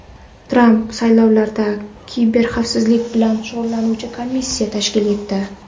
Tramp saylovlarda kiberxavfsizlik bilan shug‘ullanuvchi komissiya tashkil etdi.